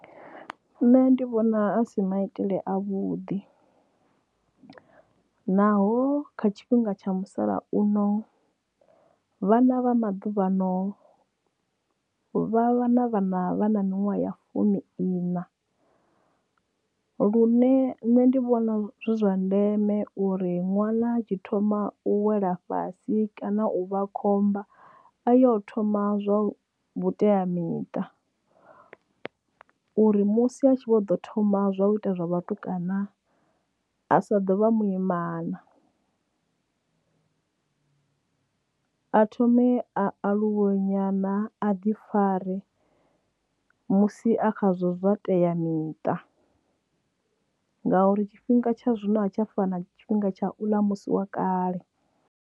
Nṋe ndi vhona asi maitele a vhuḓi naho kha tshifhinga tsha musalauno vhana vha maḓuvhano vha vha na vhana vha na minwaha ya fumi iṋa lune nṋe ndi vhona zwi zwa ndeme uri ṅwana tshi thoma u wela fhasi kana u vha khomba a yo thoma zwa vhuteamiṱa uri musi a tshi vho ḓo thoma zwa u ita zwa vhatukana a sa ḓovha muimana a thome a aluwe nyana a ḓi fare. Musi a khazwo zwa teamiṱa ngauri tshifhinga tsha zwino a tsha fana tshifhinga tsha musi wa kale.